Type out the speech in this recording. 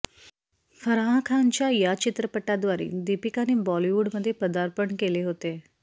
फराह खान च्या या चित्रपटाद्वारे दीपिकाने बॉलीवूड मध्ये पदार्पण केले होते